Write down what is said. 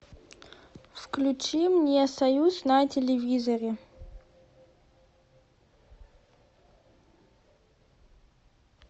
включи мне союз на телевизоре